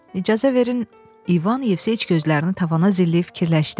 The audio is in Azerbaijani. İcazə verin, İvan Yevseviç gözlərini tavana zilləyib fikirləşdi.